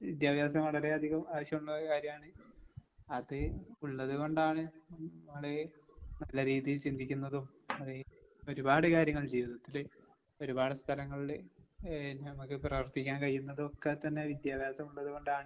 വിദ്യാഭ്യാസം വളരെയധികം ആവശ്യോള്ള കാര്യാണ്. അത് ഉള്ളത് കൊണ്ടാണ് നമ്മള് നല്ല രീതീൽ ചിന്തിക്കുന്നതും അത് ഒരുപാട് കാര്യങ്ങൾ ജീവിതത്തില് ഒരുപാട് സ്ഥലങ്ങളില് ഏഹ് നമ്മക്ക് പ്രവർത്തിക്കാൻ കഴിയുന്നതൊക്കെത്തന്നെ വിദ്യാഭ്യാസമുള്ളത് കൊണ്ടാണ്